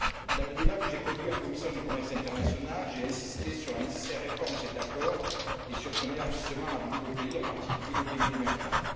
Dans le débat que j'ai conduit en commission du commerce international, j'ai insisté sur la nécessaire réforme de cet accord et sur son élargissement à de nouveaux pays, en particulier les pays émergents.